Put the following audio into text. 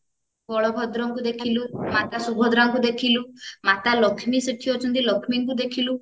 ବଳଭଦ୍ରଙ୍କୁ ଦେଖିଲୁ ମାତା ଶୁଭଦ୍ରାଙ୍କୁ ଦେଖିଲୁ ମାତା ଲକ୍ଷ୍ମୀ ସେଠି ଅଛନ୍ତି ଲକ୍ଷ୍ମୀଙ୍କୁ ଦେଖିଲୁ